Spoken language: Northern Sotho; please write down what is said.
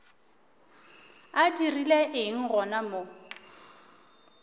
a dirile eng gona mo